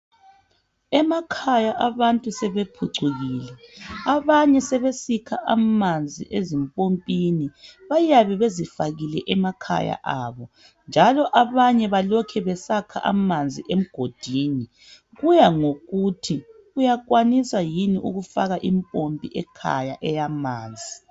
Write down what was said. Emakhaya abantu sebephucukile abanye sebesikha amanzi ezimpompini bayabe bezifakile emakhaya abo njalo abanye balokhe besakha amanzi emgodini kuya ngokuthi uyakwanisa yini ukufaka impompi ekhaya eyamanzi.